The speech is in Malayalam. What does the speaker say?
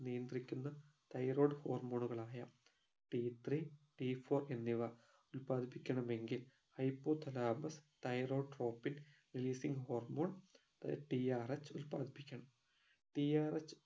നിയന്ത്രിക്കുന്ന thyroid hormone ഉകളായ ടി ത്രീ ടി ഫൗർ എന്നിവ ഉല്പാദിപ്പിക്കണമെങ്കിൽ hypothalamus thyrotropic releasing hormoneTRH ഉല്പാദിപ്പിക്കണം TRH